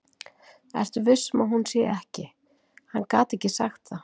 Ertu viss um að hún sé ekki. Hann gat ekki sagt það.